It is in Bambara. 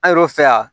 An yɛrɛw fɛ yan